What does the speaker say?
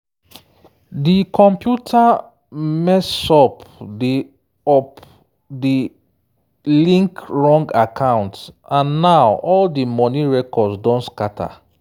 di computer mess up de up de link wrong account and now all di money records don scatter.